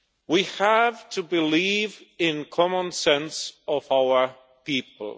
We have to believe in the common sense of our people.